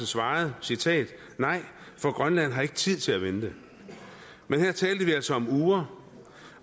svarede citat nej for grønland har ikke tid til at vente men her talte vi altså om uger